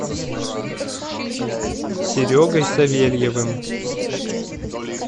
серегой савельевым